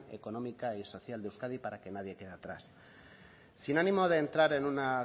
económica y social de euskadi para que nadie quede atrás sin ánimo de entrar en una